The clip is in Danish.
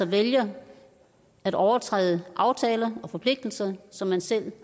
vælger at overtræde aftaler og forpligtelser som man selv